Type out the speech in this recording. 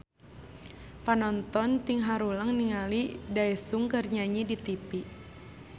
Panonton ting haruleng ningali Daesung keur nyanyi di tipi